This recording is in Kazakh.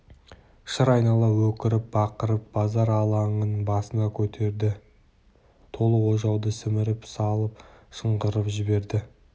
шыр айнала өкіріп-бақырып базар алаңын басына көтерді толы ожауды сіміріп салып шыңғырып жіберді